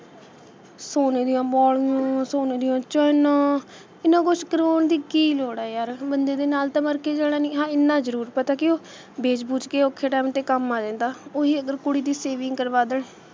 ਸੋਨੇ ਦੀਆਂ ਵਾਲੀਆਂ, ਸੋਨੇ ਦੀਆਂ ਚੈਨਾਂ, ਇਹਨਾਂ ਕੁੱਛ ਕਰਾਉਣ ਦੀ ਕੀ ਲੋੜ ਏ ਯਾਰ, ਬੰਦੇ ਦੇ ਨਾਲ ਤਾਂ ਮਰ ਕੇ ਜਾਣਾ ਨਹੀਂ, ਹਾਂ ਇਹਨਾਂ ਜਰੂਰ ਪਤਾ ਕਿ ਉਹ ਵੇਚ-ਵੂਚ ਕੇ ਔਖੇ time 'ਤੇ ਕੰਮ ਆ ਜਾਂਦਾ ਉਹੀ ਅਗਰ ਕੁੜੀ ਦੀ saving ਕਰਵਾ ਦੇਣ,